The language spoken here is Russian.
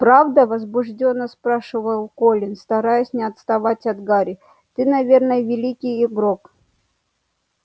правда возбуждённо спрашивал колин стараясь не отставать от гарри ты наверное великий игрок